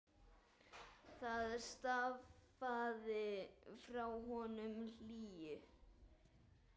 Það stafaði frá honum hlýju.